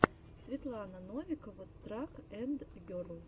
светлана новикова трак энд герл